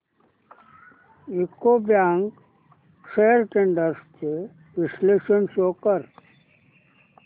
UCO bank shares trends चे विश्लेषण show कर